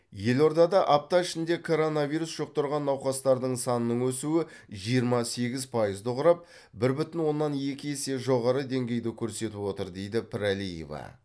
елордада апта ішінде коронавирус жұқтырған науқастардың санының өсуі жиырма сегіз пайызды құрап бір бүтін оннан екі есе жоғары деңгейді көрсетіп отыр дейді пірәлиева